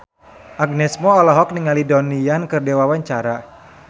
Agnes Mo olohok ningali Donnie Yan keur diwawancara